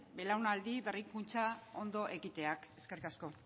belaunaldi berrikuntza ondo egiteak eskerrik asko